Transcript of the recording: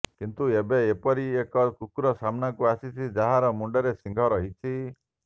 କିନ୍ତୁ ଏବେ ଏପରି ଏକ କୁକୁର ସାମ୍ନାକୁ ଆସିଛି ଯାହାର ମୁଣ୍ଡରେ ଶିଙ୍ଗ ରହିଛି